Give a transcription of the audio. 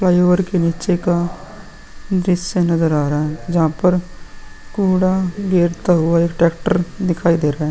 Flyover के नीचे का दृश्य नजर आ रहा है जहां पर कूड़ा गिरता हुआ एक ट्रेक्टर दिखाई दे रहा है।